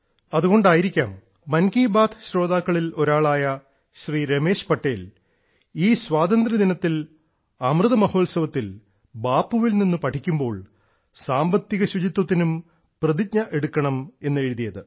അതുകൊണ്ടായിരിക്കാം മൻ കി ബാത്ത് ശ്രോതാക്കളിൽ ഒരാളായ ശ്രീ രമേശ് പട്ടേൽ ഈ സ്വാതന്ത്ര്യദിനത്തിൽ അമൃത മഹോത്സവത്തിൽ ബാപ്പുവിൽ നിന്ന് പഠിക്കുമ്പോൾ സാമ്പത്തിക ശുചിത്വത്തിനും പ്രതിജ്ഞയെടുക്കണം എന്നെഴുതിയത്